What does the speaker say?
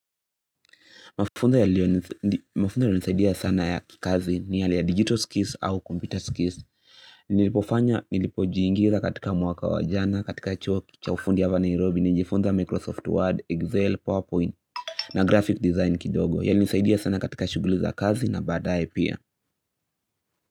Mafunzo yanayo nisaidia sana ya kikazi ni yale ya digital skills au computer skills. Nilipofanya, nilipojiingiza katika mwaka wajana, katika chuo, cha ufundi hapa Nairobi, nijifunza Microsoft Word, Excel, PowerPoint, na graphic design kidogo. Yalinisaidia sana katika shuguli za kazi na baadaye pia.